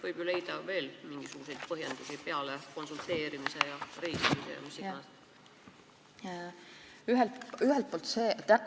Võib ju leida veel mingisuguseid põhjendusi peale konsulteerimise ja reisimise ja mille iganes.